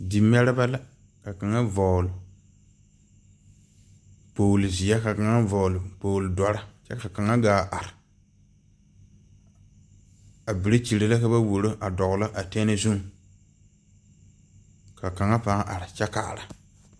Di mɛrebɛ la ka kaŋa vɔgle kpogle ziɛ ka kaŋa vɔgle kpogle dɔre kyɛ ka kaŋa gaa are, a bere kyiire la ka ba wɔroo a doglɔ a tɛnee zuŋ ka kaŋa paa are kyɛ kaara.